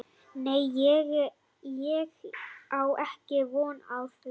Nei ég á ekki von á því.